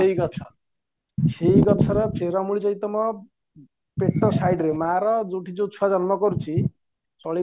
ସେଈଗଛ ସେଈଗଛର ଚେରମୂଳି ଯଦି ତମ ପେଟ ସାଇଟିରେ ମାରା ଯୋଉଠି ଯୋଉ ଛୁଆ ଜନ୍ମ କରୁଛି